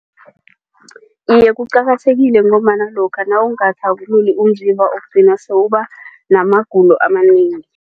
Iye, kuqakathekile ngombana lokha nawungathabululi umzimba ugcina sewubanamagulo amanengi.